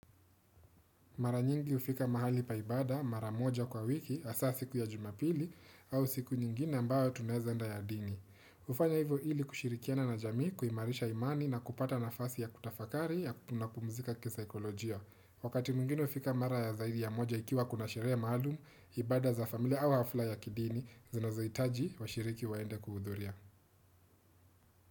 Mara nyingi hufika mahali pa ibada, mara moja kwa wiki, hasa siku ya jumapili au siku nyingine ambayo tunaeza enda ya dini. Hufanya hivyo hili kushirikiana na jamii kuimarisha imani na kupata nafasi ya kutafakari ya na kupumzika kisaikolojia. Wakati mwingine hufika mara ya zaidi ya moja ikiwa kuna sherehe maalumu, ibada za familia au hafla ya kidini, zinazohitaji washiriki waende kuhudhuria.